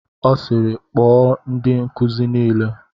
Ọ sịịrị, kpọọ ndị nkuzi niile!